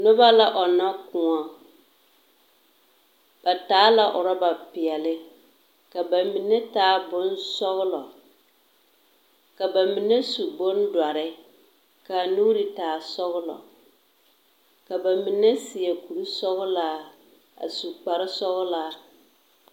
Noba la ͻnnͻ kõͻ. Ba taa la orͻba peԑle, ka ba mine taa bonsͻgelͻ. Ka ba mine su bondͻre ka a nuuri taa sͻgelͻ. Ka ba mine seԑ kuri sͻgelaa a su kpare sͻgelaa.